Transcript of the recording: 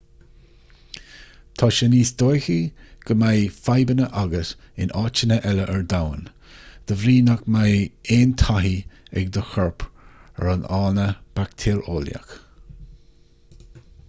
tá sé níos dóichí go mbeidh fadhbanna agat in áiteanna eile ar domhan de bhrí nach mbeidh aon taithí ag do chorp ar an fhána baictéareolaíoch